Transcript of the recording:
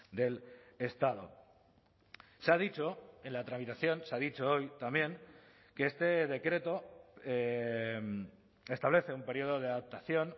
del estado se ha dicho en la tramitación se ha dicho hoy también que este decreto establece un periodo de adaptación